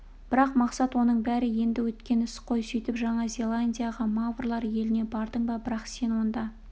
бірақ мақсат оның бәрі енді өткен іс қой сөйтіп жаңа зеландияға маврлар еліне бардың ба бірақ сен онда